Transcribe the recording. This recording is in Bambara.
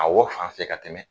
A wɔ fan fɛ ka tɛmɛ